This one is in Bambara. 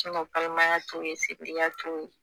balimaya to ye to ye.